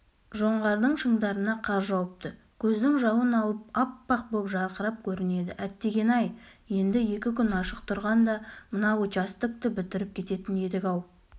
жоңғардың шыңдарына қар жауыпты көздің жауын алып аппақ боп жарқырап көрінеді әттегене-ай енді екі күн ашық тұрғанда мына участокті бітіріп кететін едік-ау